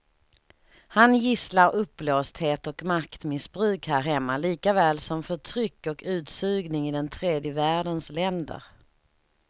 Han gisslar uppblåsthet och maktmissbruk här hemma likaväl som förtryck och utsugning i den tredje världens länder.